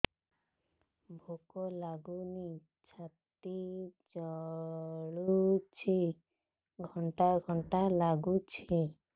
ଭୁକ ଲାଗୁନି ଛାତି ଜଳୁଛି ଖଟା ଖଟା ଲାଗୁଛି